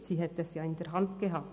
Sie hätte es ja in der Hand gehabt.